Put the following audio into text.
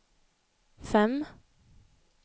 fem